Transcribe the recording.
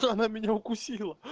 то она меня укусила